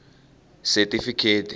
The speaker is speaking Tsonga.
setifikheti